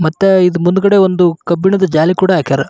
ಮತ್ತೆ ಇದು ಮುಂದುಗಡೆ ಒಂದು ಕಬ್ಬಿಣದ ಜಾಲಿ ಕೂಡ ಹಾಕ್ಯಾರ.